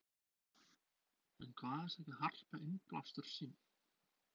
En hvaðan sækir Harpa innblástur sinn?